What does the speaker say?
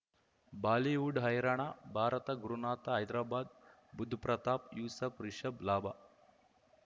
Bollywood ಹೈರಾಣ ಭಾರತ ಗುರುನಾಥ ಹೈದರಾಬಾದ್ ಬುಧ್ ಪ್ರತಾಪ್ ಯೂಸಫ್ ರಿಷಬ್ ಲಾಭ